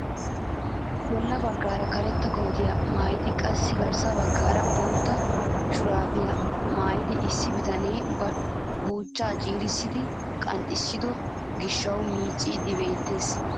Bolla baggaara karetta kootiyaa maayidi qassi garssa baggaara bootta shuraabiyaa maayida issi bitanee ba buuchchaa ciirissidi qanxxiso gishshawu micciyaagee beettees.